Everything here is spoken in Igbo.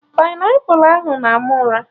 Painiapụlụ ahụ na-ama ụra